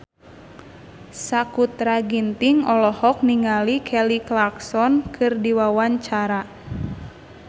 Sakutra Ginting olohok ningali Kelly Clarkson keur diwawancara